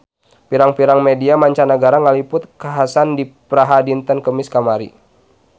Pirang-pirang media mancanagara ngaliput kakhasan di Praha dinten Kemis kamari